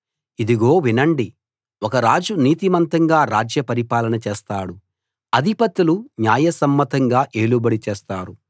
ఇదిగో వినండి ఒక రాజు నీతిమంతంగా రాజ్య పరిపాలన చేస్తాడు అధిపతులు న్యాయసమ్మతంగా ఏలుబడి చేస్తారు